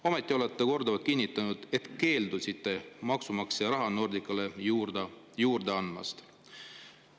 Ometi olete te korduvalt kinnitanud, et keeldusite maksumaksja raha Nordicale juurde andmast.